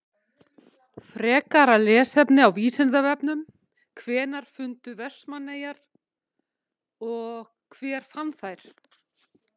Frekara lesefni á Vísindavefnum: Hvenær fundust Vestmannaeyjar og hver fann þær?